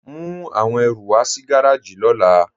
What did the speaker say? Mú awọn ẹ̀rù wà sí gàràjì ni ọ̀là.